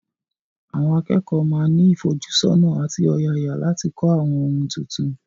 Àwọn akẹ́kọ̀ọ́ máa ní ìfojúsọ́nà àti ọ̀yàyà láti kọ́ àwọn ohun tuntun.